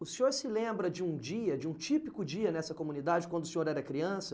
O senhor se lembra de um dia, de um típico dia nessa comunidade, quando o senhor era criança?